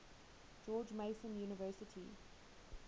george mason university